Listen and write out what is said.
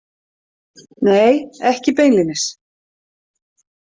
Nei, ekki beinlínis.